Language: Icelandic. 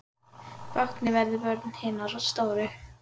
Báknið verður vörn hinna stóru.